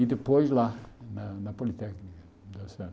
E depois lá, na na Politécnica,